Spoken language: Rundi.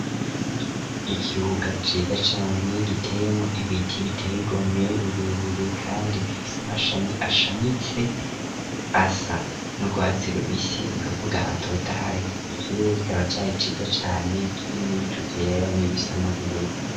Ikibuga ciza cane giteyemwo ibiti biteye igomwe birebire kandi bifise amashami ashamitse, asa n'urwatsi rubisi ni ukuvuga atotahaye. Ikirere kikaba cari ciza cane kirimwo ibicu vyera n'ibisa n'ubururu.